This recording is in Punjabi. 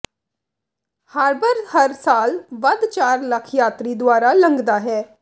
ਹਾਰ੍ਬਰ ਹਰ ਸਾਲ ਵੱਧ ਚਾਰ ਲੱਖ ਯਾਤਰੀ ਦੁਆਰਾ ਲੰਘਦਾ ਹੈ